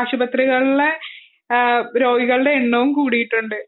ആശുപത്രികളിലെ രോഗികളുടെ എണ്ണവും കൂടിയിട്ടുണ്ട്